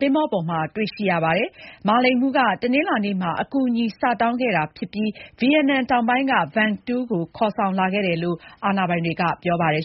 သင်္ဘော ပေါ်မှာ တွေ့ရှိရပါတယ်။ မာလိန်မှူး က တနင်္လာနေ့ မှာ အကူအညီစတောင်းခဲ့တာ ဖြစ်ပြီး၊ ဗီယက်နမ် တောင်ပိုင်း က Vung Tau ကို ခေါ်ဆောင်လာခဲ့တယ်လို့ အာဏာပိုင်တွေ က ပြောပါတယ်